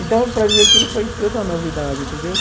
Então, para mim, aquilo foi tudo uma novidade, entendeu?